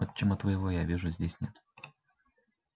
отчима твоего я вижу здесь нет